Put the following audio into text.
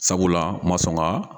Sabula ma sɔn ka